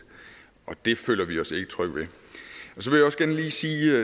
det føler vi os ikke trygge